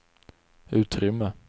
utrymme